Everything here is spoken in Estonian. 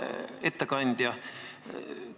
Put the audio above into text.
Hea ettekandja!